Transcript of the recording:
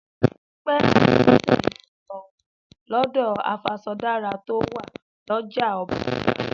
Dúpẹ́ àti Bọ́sẹ̀ yóò lọ wọ̀n lọ́dọ̀ afaṣọdárà to wà lọ́jà ọba lọ́la